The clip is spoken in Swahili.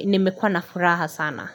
nimekuwa na furaha sana.